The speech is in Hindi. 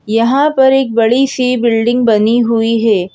यहां पर एक बड़ी सी बिल्डिंग बनी हुई है।